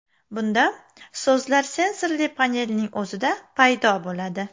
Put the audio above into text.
Bunda so‘zlar sensorli panelning o‘zida paydo bo‘ladi.